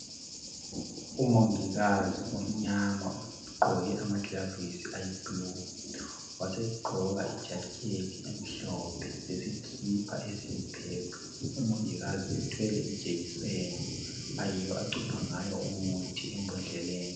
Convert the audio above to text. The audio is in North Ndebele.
Umongikazi omnyama ugqoke amagilavisi ayiblue wasegqoka ijacket emhlophe lesikipa esiyipurple umongikazi uthwele ijekiseni ayiyo acupha ngayo umuthi embodleleni.